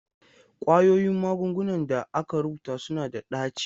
Ƙwayoyin magungunan da aka rubuta suna da ɗaci.